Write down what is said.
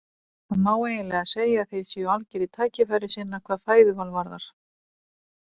Það má eiginlega segja að þeir séu algerir tækifærissinnar hvað fæðuval varðar.